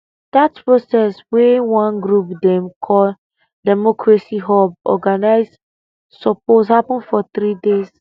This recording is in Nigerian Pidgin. dat protest wey one group dem call democracy hub organise suppose happun for three days